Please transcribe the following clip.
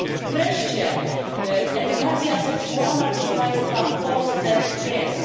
Wreszcie, edukacja seksualna, proszę państwa, w Polsce jest.